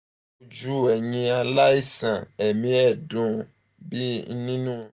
ojú ẹ̀yin aláìsàn ẹ̀mí ẹ̀dùn ń bẹ nínú